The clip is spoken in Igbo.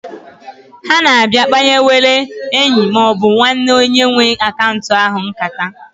Ha na-abịa kpanyewere enyi maọbụ nwanne onye nwe akaunt ahụ nkata.